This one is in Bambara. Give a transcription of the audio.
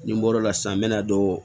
Ni n bɔr'o la sisan n bɛ na don